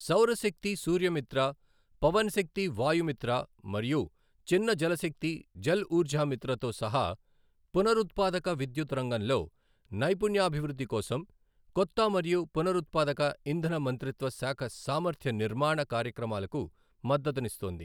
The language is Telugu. సౌరశక్తి సూర్యమిత్ర, పవన శక్తి వాయుమిత్ర మరియు చిన్న జలశక్తి జల్ఊర్జామిత్ర తో సహా పునరుత్పాదక విద్యుత్ రంగంలో నైపుణ్యాభివృద్ధి కోసం కొత్త మరియు పునరుత్పాదక ఇంధన మంత్రిత్వ శాఖ సామర్థ్య నిర్మాణ కార్యక్రమాలకు మద్దతునిస్తోంది.